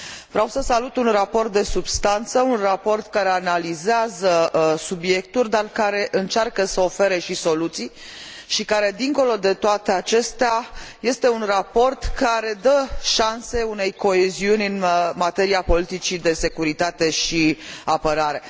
Vreau să salut un raport de substanță, un raport care analizează subiectul, dar care încearcă să ofere și soluții și care, dincolo de toate acestea, este un raport care dă șanse unei coeziuni în materia politicii de securitate și apărare.